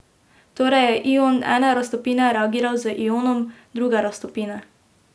Torej je ion ene raztopine reagiral z ionom druge raztopine.